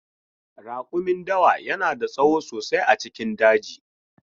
Rakumin dawa yana da tsawo sosai a cikin daji.